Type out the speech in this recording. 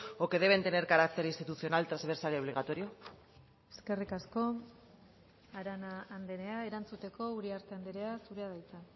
o que deben tener carácter institucional transversal y obligatorio eskerrik asko arana andrea erantzuteko uriarte andrea zurea da hitza